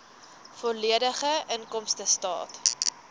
volledige inkomstestaat